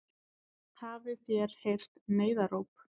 Hafið þér heyrt neyðaróp?